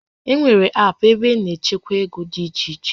E nwèrè aapụ ebe a na-echekwa ego dị iche iche